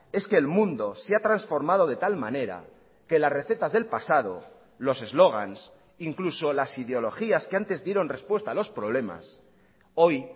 es que el mundo se ha transformado de tal manera que las recetas del pasado los eslogans incluso las ideologías que antes dieron respuesta a los problemas hoy